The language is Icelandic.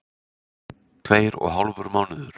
Tveir og hálfur mánuður.